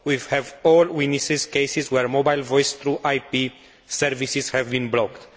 We have all witnessed cases where mobile Voice through IP services have been blocked.